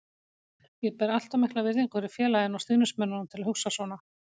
Ég ber allt of mikla virðingu fyrir félaginu og stuðningsmönnunum til að hugsa svona.